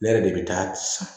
Ne yɛrɛ de bɛ taa san